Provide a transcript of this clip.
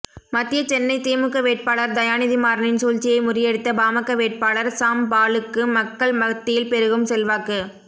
மத்திய சென்னை திமுக வேட்பாளர் தயாநிதிமாறனின் சூழ்ச்சியை முறியடித்த பாமக வேட்பாளர் சாம் பாலுக்கு மக்கள் மத்தியில் பெருகும் செல்வாக்கு